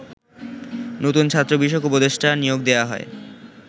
নতুন ছাত্র বিষয়ক উপদেষ্টা নিয়োগ দেয়া হয়